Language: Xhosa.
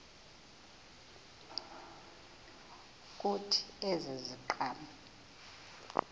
kuthi ezi ziqhamo